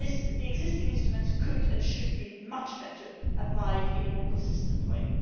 The existing EU instruments could and should be much better applied in a more consistent way.